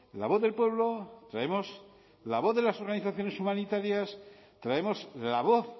la voz del pueblo traemos la voz de las organizaciones humanitarias traemos la voz